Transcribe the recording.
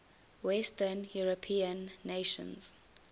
western european nations